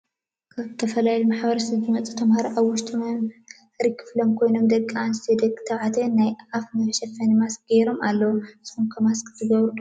ካብ ዝተፈላለዮ ማሕበረሰብ ዝመፁ ተማ ሃሮ አብ ውሸጢ መምሃር ክፍሊ ኮይኖም ደቂ አነሰትዮ ደቂ ተባዕትዮ ናይ አፍ መሸፈኒ ማሰክ ገይሮም አለው ።ንሰኩም ከ ማሰኪ ትገብር ዶ ?